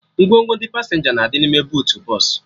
Ngwongwo ndị pasenja na-adị n'ime buutu bọsụ